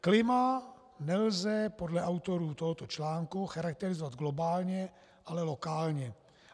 Klima nelze podle autorů tohoto článku charakterizovat globálně, ale lokálně.